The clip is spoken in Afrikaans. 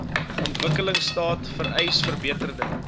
ontwikkelingstaat vereis verbeterde